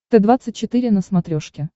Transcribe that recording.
т двадцать четыре на смотрешке